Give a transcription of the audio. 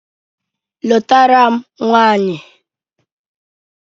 Lụtara m nwanyị